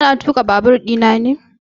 Ka na tuƙa babur ina ne?